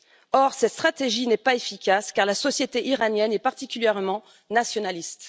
Or, cette stratégie n'est pas efficace, car la société iranienne est particulièrement nationaliste.